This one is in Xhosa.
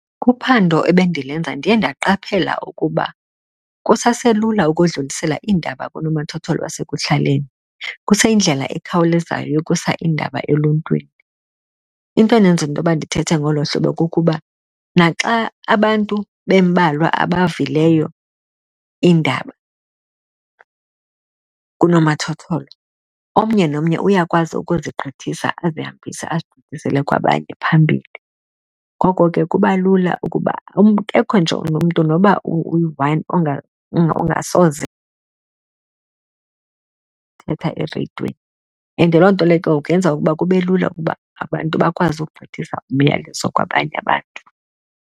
Kuphando ebendilenza ndiye ndaqaphela ukuba kusaselula ukudlulisela iindaba kunomathotholo wasekuhlaleni, kuseyindlela ekhawulezayo yokusa iindaba eluntwini. Into endenza intoba ndithethe ngolo hlobo kukuba naxa abantu bembalwa abavileyo iindaba kunomathotholo, omnye nomnye uyakwazi ukuzigqithisa azihambise, azigqithisele kwabanye phambili. Ngoko ke kuba lula ukuba nje nomntu noba uyi-one ongasoze thetha ereyidweni, and loo nto leyo ke ngoku yenza ukuba kube lula ukuba abantu bakwazi ukugqithisa umyalezo kwabanye abantu.